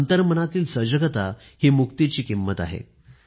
अंतर्मनातील सजगता हि मुक्तीची किंमत आहे